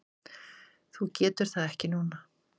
Þú getur það ekki núna?